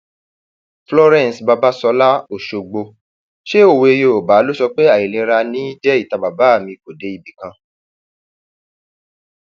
florence babasola ọṣọgbó um ṣe òwe yorùbá ló sọ pé àìlera ní í jẹ ìta bàbá mi kò um dé ibì kan